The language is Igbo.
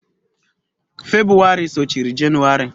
Febụwarị sochiri Jenụwarị.